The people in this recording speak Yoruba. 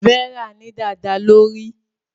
Vera ní dada lórí.